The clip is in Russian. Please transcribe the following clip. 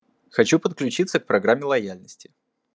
хочу подключиться к программе лояльности